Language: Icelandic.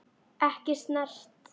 Ekki snert.